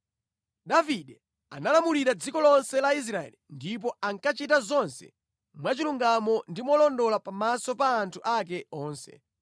Davide analamulira dziko lonse la Israeli ndipo ankachita zonse mwachilungamo ndi molondola pamaso pa anthu ake onse.